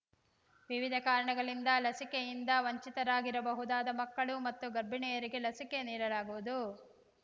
ವಿವಿಧ ಕಾರಣಗಳಿಂದ ಲಸಿಕೆಯಿಂದ ವಂಚಿತರಾಗಿರಬಹುದಾದ ಮಕ್ಕಳು ಮತ್ತು ಗರ್ಭಿಣಿಯರಿಗೆ ಲಸಿಕೆ ನೀಡಲಾಗುವುದು